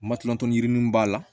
Matɔrɔniw b'a la